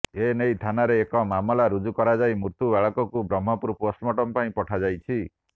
ଏନେଇ ଥାନାରେ ଏକ ମାମଲା ରୁଜୁ କରାଯାଇ ମୃତ୍ୟୁ ବାଳକକୁ ବ୍ରହ୍ମପୁର ପୋଷ୍ଟମର୍ଟମ ପାଇଁ ପଠାଯାଇଛି